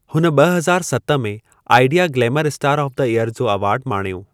हुन ॿ हज़ार सत में Idea glamour star of the year जो एवार्डु माणियो।